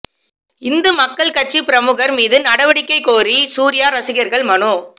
இந்து மக்கள் கட்சிப் பிரமுகா் மீது நடவடிக்கை கோரி சூா்யா ரசிகா்கள் மனு